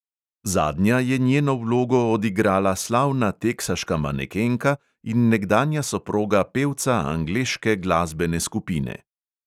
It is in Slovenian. Zadnja je njeno vlogo odigrala slavna teksaška manekenka in nekdanja soproga pevca angleške glasbene skupine.